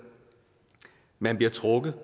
man bliver trukket